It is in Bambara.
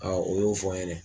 O y'o fɔ n ɲɛnɛ.